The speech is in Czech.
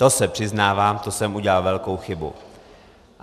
To se přiznávám, to jsem udělal velkou chybu.